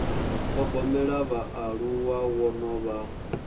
thogomela vhaaluwa wo no vha